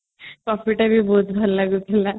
coffee ଟା ବି ବହୁତ ଭଲ ଲାଗୁଥିଲା